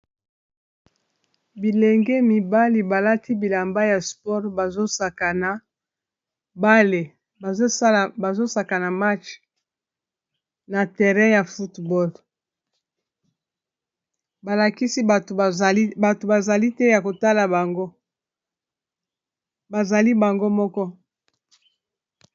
bilenge mibali balati bilamba ya sport bazsaa bale bazosaka na match na terrain ya football balakisi bato zali te ya kotala anbazali bango moko